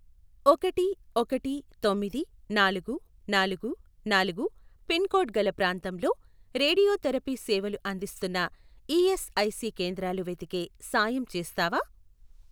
ఒకటి ఒకటి తొమ్మిది నాలుగు నాలుగు నాలుగు పిన్ కోడ్ గల ప్రాంతంలో రేడియోథెరపీ సేవలు అందిస్తున్న ఈఎస్ఐసి కేంద్రాలు వెతికే సాయం చేస్తావా?